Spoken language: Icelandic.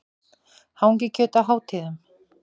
Hangikjöt á hátíðum.